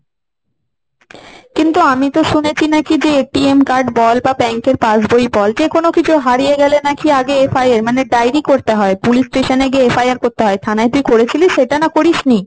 কিন্তু আমি তো শুনেছি নাকি যে card বল, বা bank এর pass বই বল যে কোন কিছু হারিয়ে গেলে নাকি আগে FIR মানে diary করতে হয়। police station এ গিয়ে এFIR করতে হয় থানায়। তুই করেছিলিস সেটা না করিস নি?